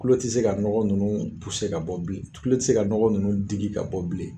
Tulo ti se ka nɔgɔ nunnu ka bɔ bilen tulo ti se ka nɔgɔ nunnu digi ka bɔ bilen.